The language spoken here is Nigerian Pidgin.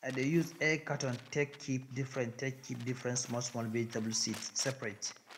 i dey use egg carton take keep different take keep different smallsmall vegetable seeds separate